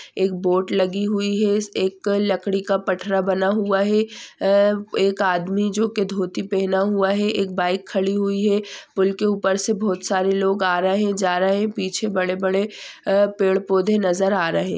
एक बोट लगी हुई है इस एक लकड़ी का पठरा बना हुआ है अ एक आदमी जो के धोती पेहना हुआ है एक बाईक खड़ी हुई है पुल के ऊपर से बहुत सारे लोग आ रहे जा रहे पीछे बडे-बडे अ पेड़-पौधे नज़र आ रहे--